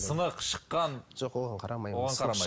сынық шыққан жоқ оған қарамаймыз